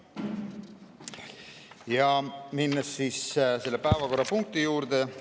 Lähen nüüd selle päevakorrapunkti juurde.